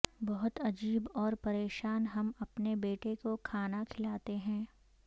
بہت عجیب اور پریشان ہم اپنے بیٹے کو کھانا کھلاتے ہیں